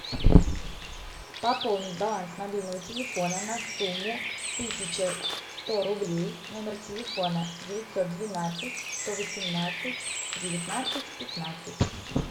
пополнить баланс мобильного телефона на сумму тысяча сто рублей номер телефона девятьсот двенадцать сто восемнадцать девятнадцать пятнадцать